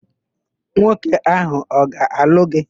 Nwoke áhụ̀ ọ ga-alụ gị?